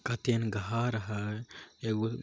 यह उनके घर है एगो--